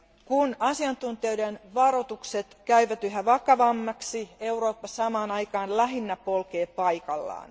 Kun asiantuntijoiden varoitukset käyvät yhä vakavammiksi, Eurooppa samaan aikaan lähinnä polkee paikallaan.